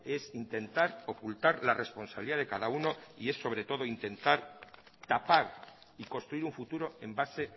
es intentar ocultar la responsabilidad de cada uno y es sobre todo intentar tapar y construir un futuro en base